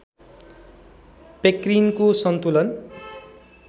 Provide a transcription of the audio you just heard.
पेक्रिनको सन्तुलन